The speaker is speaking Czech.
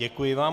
Děkuji vám.